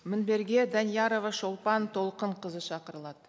мінберге даниярова шолпан толқынқызы шақырылады